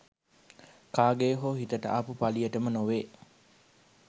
කාගේ හෝ හිතට ආපු පලියටම නොවේ